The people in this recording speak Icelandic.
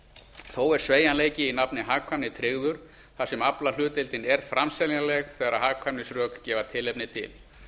þó er sveigjanleiki í nafni hagkvæmni tryggður þar sem aflahlutdeildin er framseljanleg þegar hagkvæmnisrök gefa tilefni til